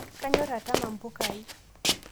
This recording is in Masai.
Kanyor atama mpukai